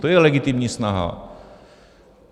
To je legitimní snaha.